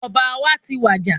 Ọba wa tí wàjà